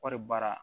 Kɔɔri baara